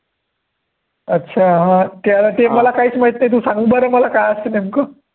अच्छा हा ते आता ते मला काहीच माहीत नाही, तु संग बरं मला काय असतं नेमकं